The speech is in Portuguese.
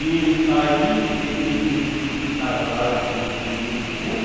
E aí ele ele subiu nas asas do urubu.